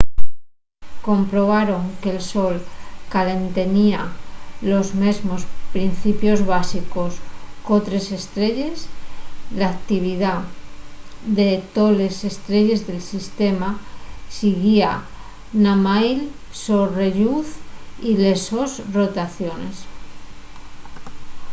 comprobaron que'l sol caltenía los mesmos principios básicos qu'otres estrelles l'actividá de toles estrelles del sistema siguía namái'l so relluz y les sos rotaciones